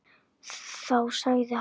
Þá sagði hann.